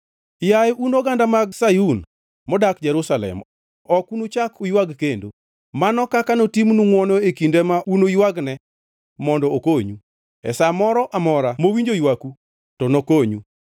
Yaye un oganda mag Sayun, modak Jerusalem, ok unuchak uywag kendo. Mano kaka notimnu ngʼwono e kinde ma unuywagne mondo okonyu! E sa moro amora mowinjo ywaku, to nokonyu.